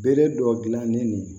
Bere dɔ gilan ne ni